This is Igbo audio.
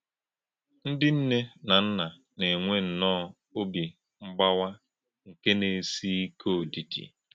Ndị́ nnè̄ nà nnà̄ nà - ènwè̄ nnọọ̄ ọ́bì mgbàwà̄ nké nà - èsí̄ íkè̄ òdídì̄.